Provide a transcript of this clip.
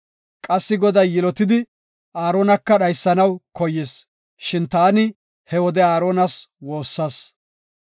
Qassi Goday yilotidi Aaronaka dhaysanaw koyis; shin taani he wode Aaronas woossas.